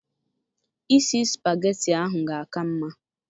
Isi spageti ahụ ga aka mma